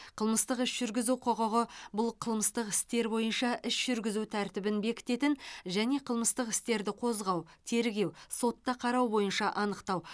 қылмыстық іс жүргізу құқығы бұл қылмыстық істер бойынша іс жүргізу тәртібін бекітетін және қылмыстық істерді қозғау тергеу сотта қарау бойынша анықтау